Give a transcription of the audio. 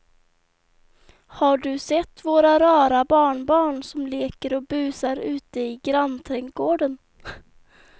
Har du sett våra rara barnbarn som leker och busar ute i grannträdgården!